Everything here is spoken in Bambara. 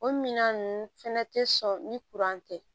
O minan ninnu fɛnɛ tɛ sɔn ni tɛ